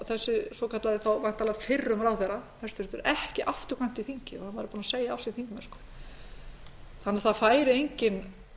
þessi svokallaði þá væntanlega fyrrum ráðherra ekki afturkvæmt í þingið hann væri búinn að segja af sér þingmennsku þannig að það væri enginn